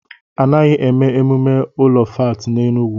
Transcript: Anaghị èmè emumé ụlọ fáátị n'Enugwu